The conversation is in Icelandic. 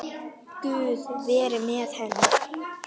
Guð veri með henni.